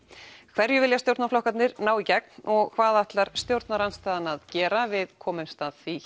hverju vilja stjórnarflokkarnir ná í gegn og hvað ætlar stjórnarandstaðan að gera við komumst að því